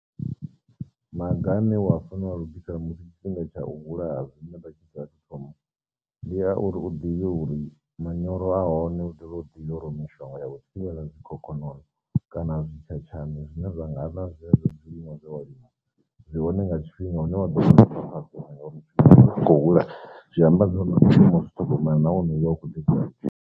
Maga ane wa fanelwa lugisela musi tshifhinga tsha u vhulaha dzine vha tshi sa athu thoma, ndi a uri u ḓivhe uri manyoro a hone u dovhe u ḓivhe uri mishonga ya u thivhela zwikhokhonono kana zwi tshatshailni zwine vha nga ḽa zwezwo zwiḽiwa dza wa lima zwi hone nga tshifhinga hune wa ḓo khou hula zwi amba zwori tshiṅwe zwi ṱhogomela nahone hu vha hu khou .